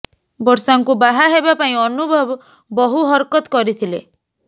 ବର୍ଷାଙ୍କୁ ବାହା ହେବା ପାଇଁ ଅନୁଭବ ବହୁ ହରକତ କରିଥିଲେ